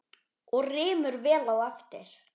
Og rymur vel á eftir.